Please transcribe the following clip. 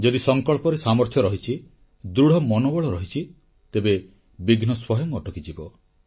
ଯଦି ସଂକଳ୍ପରେ ସାମର୍ଥ୍ୟ ରହିଛି ଦୃଢ଼ ମନୋବଳ ରହିଛି ତେବେ ବିଘ୍ନ ସ୍ୱୟଂ ଅଟକିଯିବ